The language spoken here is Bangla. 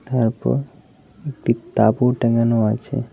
তারপর একটি তাঁবু টাঙানো আছে।